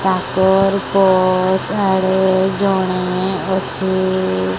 ତାଙ୍କର୍ ପର୍ସ୍ ଆଡେ ଜଣେ ଅଛି।